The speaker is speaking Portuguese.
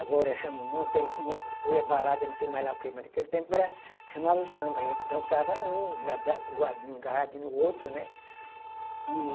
Agora chama um monte aí, um monte de coisa, é balada, é não sei mais lá o quê, naquele tempo não era, chamava o samba, a gente dançava um, grudadinho, um agarradinho no outro, né? E